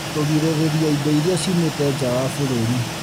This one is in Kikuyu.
Kũgirĩrĩria indo iria ciumĩte nja wa bũrũri